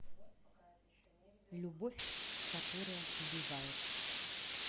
любовь которая убивает